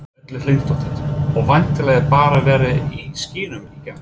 Erla Hlynsdóttir: Og væntanlega bara verið í skýjunum í gær?